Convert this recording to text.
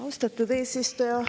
Austatud eesistuja!